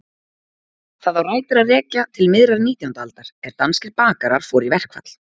Það á rætur að rekja til miðrar nítjándu aldar er danskir bakarar fóru í verkfall.